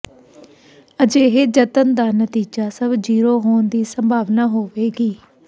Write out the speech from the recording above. ਅਜਿਹੇ ਜਤਨ ਦਾ ਨਤੀਜਾ ਸਭ ਜ਼ੀਰੋ ਹੋਣ ਦੀ ਸੰਭਾਵਨਾ ਹੋਵੇਗੀ